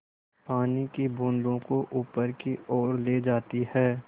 पानी की बूँदों को ऊपर की ओर ले जाती है